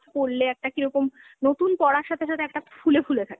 পরলে একটা কীরকম, নতুন পরার সাথে সাথে একটা ফুলে ফুলে থাকে।